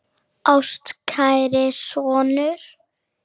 Ástkæri sonur